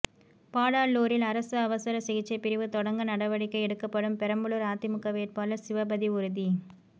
பாடாலூரில் அரசு அவசர சிகிச்சை பிரிவு தொடங்க நடவடிக்கை எடுக்கப்படும் பெரம்பலூர் அதிமுக வேட்பாளர் சிவபதி உறுதி